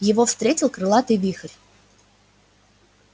его встретил крылатый вихрь